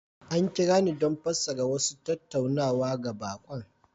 An kira ni don fassara wasu tattaunawa ga baƙon